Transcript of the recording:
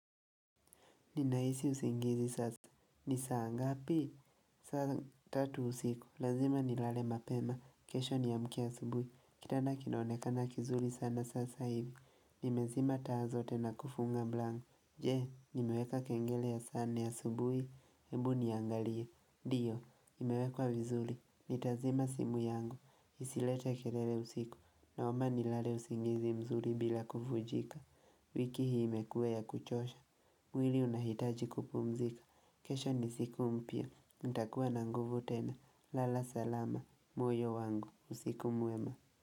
Ninahisi usingizi sasa. Ni saa ngapi? Sasa tatu usiku. Lazima nilale mapema. Kesho niamkie asubuhi. Kitanda kinaonekana kizuri sana sasa hivi. Nimezima taa zote na kufunga mlango. Je, nimeweka kengele ya saa nne ya asubuhi? Ebu niangalie, ndio imewekwa vizuri. Nitazima simu yangu. Isilete kelele usiku. Naomba nilale usingizi mzuri bila kuvunjika wiki hii imekuwa ya kuchosha mwili unahitaji kupumzika, kesho ni siku mpya, nitakuwa na nguvu tena. Lala salama. Moyo wangu. Usiku mwema.